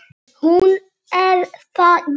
Hún er það, já.